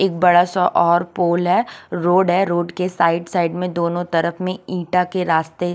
एक बड़ा सा और पूल है रोड है रोड के साइड साइड में दोनों तरफ में ईटा के रास्ते --